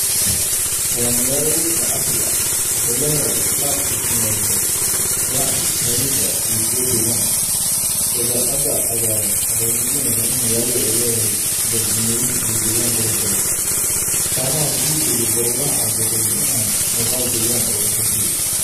Waa magaalo weyn oo casri ah. Waxay leedahay isku dhaf dhismeedyo ganacsi, taariikhi ah iyo kuwo degaan. Dabeecadda cagaaran waxay muujinaysaa in magaalada ay leedahay jardiinooyin iyo deegaan qurux badan. Samada buluugga ah iyo daruuraha cad waxay bixiyaan muuqaal deggan oo la qurxiyey.